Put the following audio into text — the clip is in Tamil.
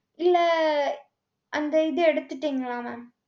இல்லை அந்த இதை எடுத்துட்டீங்களா mam?